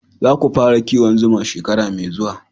Za ku fara kiwon zuma shekara mai zuwa